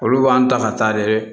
Olu b'an ta ka taa de